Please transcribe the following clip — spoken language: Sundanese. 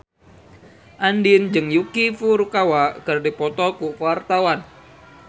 Andien jeung Yuki Furukawa keur dipoto ku wartawan